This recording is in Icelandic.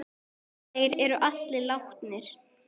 Þeir eru allir látnir.